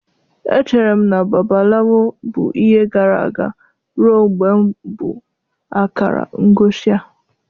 Echere m na Babalawo bụ ihe gara aga ruo mgbe m bụ akara ngosi a.